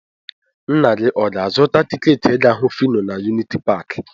Nna gị ọ ga-azụta tiketi ịga hụ Fino na yunity paakị?